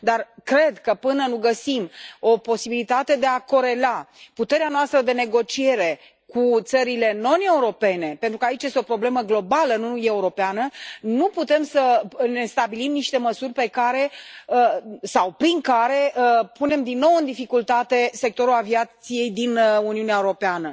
Dar cred că, până nu găsim o posibilitate de a corela puterea noastră de negociere cu țările non europene, pentru că aici este o problemă globală, nu europeană, nu putem să ne stabilim niște măsuri prin care să punem din nou în dificultate sectorul aviației din Uniunea Europeană.